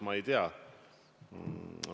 Ma ei tea.